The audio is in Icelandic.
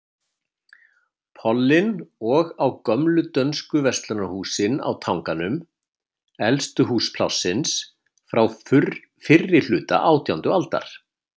Pollinn og á gömlu dönsku verslunarhúsin á Tanganum, elstu hús Plássins, frá fyrrihluta átjándu aldar.